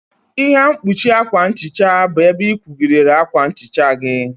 Ihe mkpuchi akwa nhicha bụ ebe ị kwụgidere akwa nhicha gị.